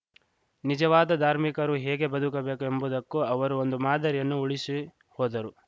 ನಿಜವಾದ ಧಾರ್ಮಿಕರು ಹೇಗೆ ಬದುಕಬೇಕು ಎಂಬುದಕ್ಕೂ ಅವರು ಒಂದು ಮಾದರಿಯನ್ನು ಉಳಿಸಿಹೋದರು